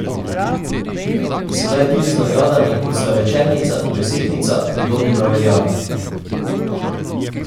Sedaj je tudi z nagradami, kot sta večernica in desetnica, pridobil na veljavi.